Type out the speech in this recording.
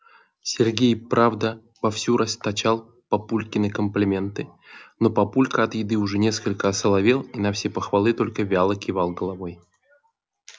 сергей правда вовсю расточал папульке комплименты но папулька от еды уже несколько осоловел и на все похвалы только вяло кивал головой